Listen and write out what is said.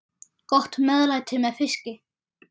Gott meðlæti með fiski.